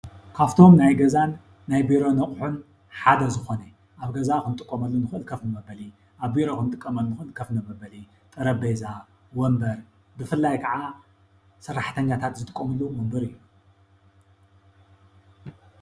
ካብቶም ናይ ገዛን ናይ ቢሮ አቁሑን ሓደ ዝኮነ አብ ገዛ እንጥቀመሎም ከፍ መብሊ አብ ቢሮ እንጥቀመሉ ከፍ መበሊ ጠረጲዛ፣ ወንበር ብፍላይ ከዓ ሰራሕተኛታት ዝጥቀምሉ ወንበር እዩ።